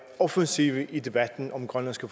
offensive i debatten om grønlandske